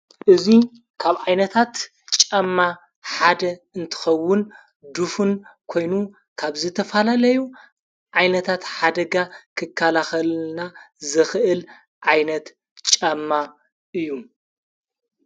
እዙይ ካብ ኣይነታት ጫማ ሓደ እንትኸውን ዱፉን ኮይኑ ካብ ዘተፋላለዩ ኣይነታት ሓደጋ ክካላኸልና ዝኽእል ኣይነት ጫማ እዩ።